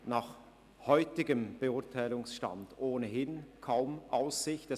Nach dem heutigen Stand der Beurteilung hätte ein solches Gesuch ohnehin kaum Aussichten auf eine Gutheissung.